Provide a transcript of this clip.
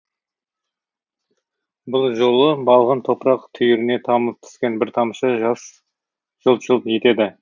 бұл жолы балғын топырақ түйіріне тамып түскен бір тамшы жас жылт жылт етеді